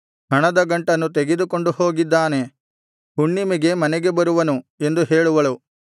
ಹಣದ ಗಂಟನ್ನು ತೆಗೆದುಕೊಂಡು ಹೋಗಿದ್ದಾನೆ ಹುಣ್ಣಿಮೆಗೆ ಮನೆಗೆ ಬರುವನು ಎಂದು ಹೇಳುವಳು